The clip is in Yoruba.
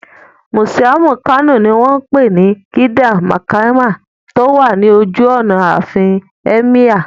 Mùsíọ̀mù Kano ní wọ́n pè ní Gidan Makama tó wà ní ojú ọ̀nà àfin Ẹ́míyà